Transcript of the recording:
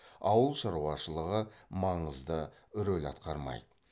ауыл шаруашылығы маңызды рөл атқармайды